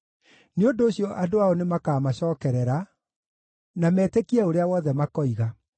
Nĩ ũndũ ũcio andũ ao nĩmakamacokerera na metĩkie ũrĩa wothe makoiga.